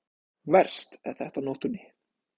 Verst er þetta á nóttunni.